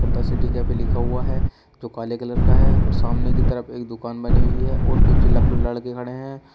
पर the city cafe लिखा हुआ है जो काले कलर का है और सामने की तरफ एक दुकान बनी हुई है और कुछ लक लड़के खड़े हैं।